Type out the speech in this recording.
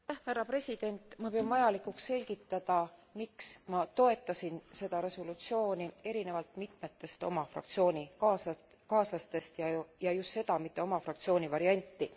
Ma pean vajalikuks selgitada, miks ma toetasin seda resolutsiooni erinevalt mitmetest oma fraktsioonikaaslastest ja just seda, mitte oma fraktsiooni varianti.